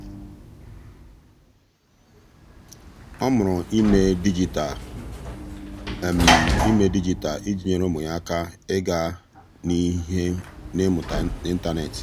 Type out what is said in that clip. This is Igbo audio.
ọ́ mụrụ ímé dịjịta mụrụ ímé dịjịta iji nyèré ụ́mụ́ yá áká ị́gá n’ihu n’ị́mụ́ta n’ị́ntánétị̀.